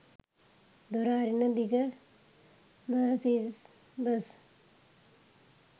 දොර අරින දිග මර්සිඩීස් බස්